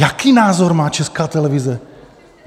Jaký názor má Česká televize?